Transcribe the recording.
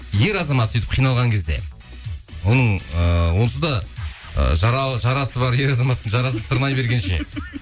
ер азамат сөйтіп қиналған кезде оның ыыы онсыз да ы жарасы бар ер азаматтың жарасын тырнай бергенше